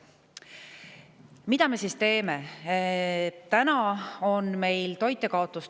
Mida me siis teeme?